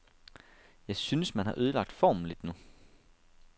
Jeg synes, man har ødelagt formen lidt nu.